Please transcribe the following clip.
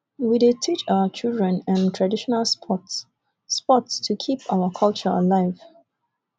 we dey teach our children um traditional sports sports to keep our culture alive